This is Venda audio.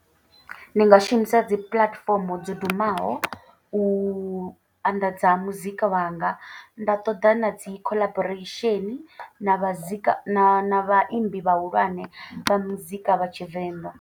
Ndi nga shumisa dzi puḽatifomo dzo dumaho u anḓadza muzika wanga. Nda ṱoḓa na dzi collaboration na vha zika na vhaimbi vhahulwane vha muzika wa tshivenḓa.